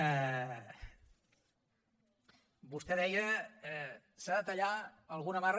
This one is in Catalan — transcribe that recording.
vostè deia s’ha de tallar alguna amarra